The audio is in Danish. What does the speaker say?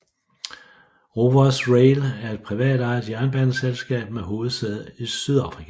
Rovos Rail er et privatejet jernbaneselskab med hovedsæde i Sydafrika